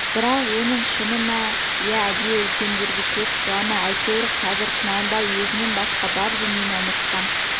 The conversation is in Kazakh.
бірақ оның шыны ма иә әдейі үлкендерге көз қыла ма әйтеуір қазір құнанбай сөзінен басқа бар дүниені ұмытқан